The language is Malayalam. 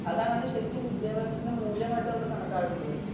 അതാണ് ശരിക്കും വിദ്യാഭ്യാസത്തിന്റെ മൂല്യമായിട്ട് കണക്കാക്കേണ്ടത്